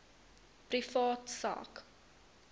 privaat sak